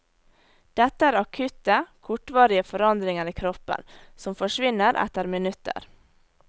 Dette er akutte, kortvarige forandringer i kroppen, som forsvinner etter minutter.